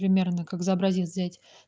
примерно как за образец взять